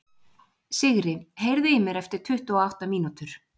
Sigri, heyrðu í mér eftir tuttugu og átta mínútur.